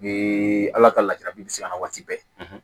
U ye ala ka latigɛ bɛ se ka na waati bɛɛ